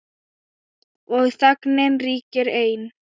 Og þögnin ríkir ein.